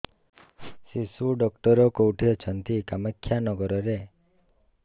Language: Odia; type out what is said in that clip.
ଶିଶୁ ଡକ୍ଟର କୋଉଠି ଅଛନ୍ତି କାମାକ୍ଷାନଗରରେ